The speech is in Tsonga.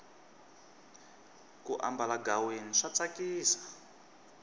ku ambala ghaweni swa tsakisa